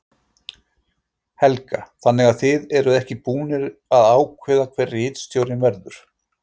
Helga: Þannig að þið eruð ekki búnir að ákveða hver ritstjórinn verður?